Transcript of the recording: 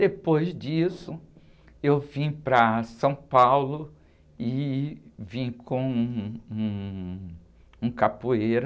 Depois disso, eu vim para São Paulo e vim com um, um capoeira